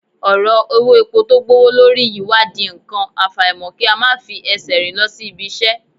Ọ̀rọ̀ owó epo tó gbówó lórí yìí wá di nǹkan, àfàìmọ̀ kí a máa fi ẹsẹ̀ rìn lọ sí ibi-iṣẹ́